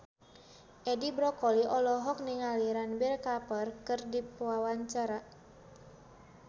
Edi Brokoli olohok ningali Ranbir Kapoor keur diwawancara